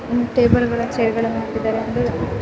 ಒಂದ್ ಟೇಬಲ್ ಗಳು ಚೆರ್ ಗಳನ್ನೂ ಆಕಿದ್ದರೆ --